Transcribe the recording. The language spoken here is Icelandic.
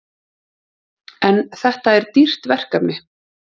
En þetta er dýrt verkefni?